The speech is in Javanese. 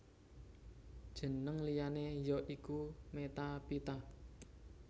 Jeneng liyané ya iku Metaphyta